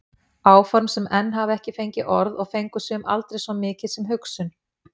Áform sem enn hafa ekki fengið orð og fengu sum aldrei svo mikið sem hugsun.